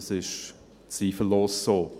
Das ist zweifellos so.